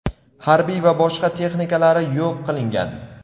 harbiy va boshqa texnikalari yo‘q qilingan.